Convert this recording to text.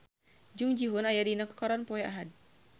Jung Ji Hoon aya dina koran poe Ahad